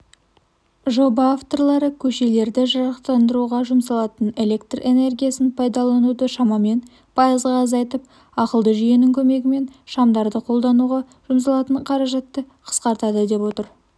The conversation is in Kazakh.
жоба авторлары көшелерді жарықтандыруға жұмсалатын электр энергиясын пайдалануды шамамен пайызға азайтып ақылды жүйенің көмегімен шамдарды қолдануға жұмсалатын қаражатты қысқартады деп отыр